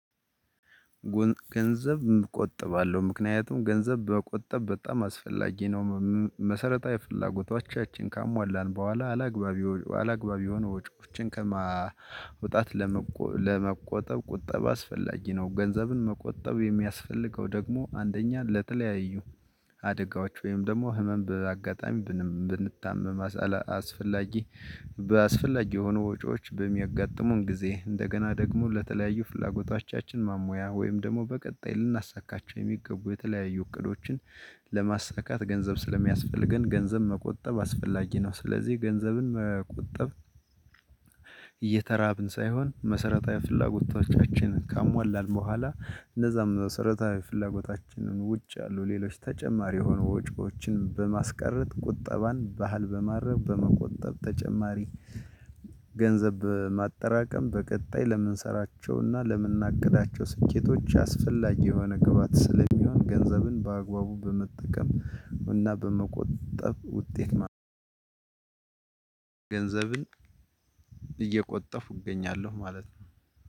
ገንዘብ እቆጥባለሁ ምክንያቱም ገንዘብ በመቆጠብ በጣም አስፈላጊ ነው። መሰረታዊ ፍላጎቶቻችን ካሟላን በኋላ አላግባብ አላግባብ የሆኑ ወጪዎችን ከማውጣት ለመቆ ለመቆጠብ ቁጠብ አስፈላጊ ነው። ገንዘብን መቆጠብ የሚያስፈልገው ደግሞ አንደኛ ለተለያዩ አደጋዎች ወይም ደግሞ ህመም በአጋጣሚ ብንታመም አስፈላጊ በስፈላጊ የሆኑ ወጪዎች በሚያጋጥሙን ጊዜ እንደገና ደግሞ ለተለያዩ ፍላጎቶቻችን ማሟያ ወይም ደግሞ በቀጣይ ልናሳካቸው የሚገቡ የተለያዩ እቅዶችን ለማሳካት ገንዘብ ስለሚያስፈልገን ገንዘብ መቆጠብ አስፈላጊ ነው። ስለዚህ ገንዘብን መቆጠብ። እየተራብን ሳይሆን መሰረታዊ ፍላጎቶቻችን ካሟላን በኋላ እነዛም መሰረታዊ ፍላጎታችንን ውጭ ያሉ ሌሎች ተጨማሪ የሆኑ ወጪዎችን በማስቀረት ቁጠባን ባህል በማረግ በመቆጠብ ተጨማሪ ገንዘብ ማጠራቀም በቀጣይ ለምንሰራቸውና ለምንናቅዳቸው ስኬቶች አስፈላጊ የሆነ ግብአት ስለሚሆን ገንዘብን በአግባቡ በመጠቀም እና በመቆጠብ ውጤት ነው። ገንዘብን እየቆጠብኩ እገኛለሁ ማለት ነው።